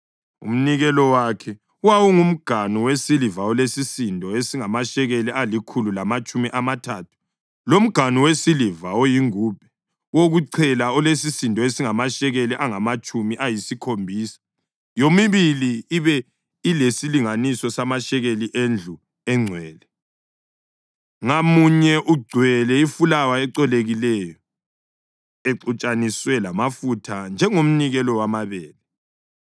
Umnikelo wakhe: wawungumganu wesiliva olesisindo esingamashekeli alikhulu lamatshumi amathathu, lomganu wesiliva oyingubhe wokuchela olesisindo esingamashekeli angamatshumi ayisikhombisa, yomibili ibe lesilinganiso samashekeli endlu engcwele, ngamunye ugcwele ifulawa ecolekileyo, exutshaniswe lamafutha njengomnikelo wamabele;